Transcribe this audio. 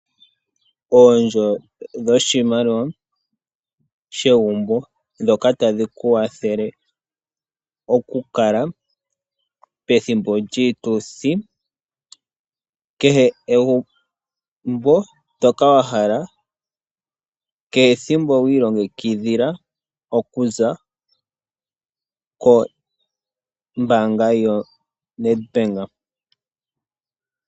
Oondjo dhoshimaliwa shegumbo ndhoka tadhi ku kwathele oku kala pethimbo lyiituthi. Kehe egumbo ndoka wa hala kehe ethimbo wiilongekidhila okuza kombaanga yoNedbank.